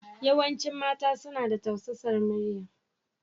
Yawancin mata suna da tausasar muryar.